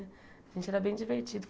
A gente era bem divertido.